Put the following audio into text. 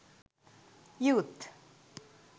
youth